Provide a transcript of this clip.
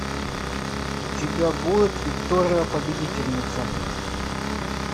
у тебя будет виктория победительница